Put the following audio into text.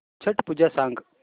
छट पूजा सांग